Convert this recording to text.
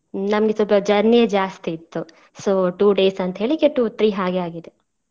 ನಮ್ಗೆ ಸ್ವಲ್ಪ journey ಜಾಸ್ತಿ ಇತ್ತು so two days ಅಂತೇಳಿ ಈಗ two three ಹಾಗೆ ಆಗಿದೆ.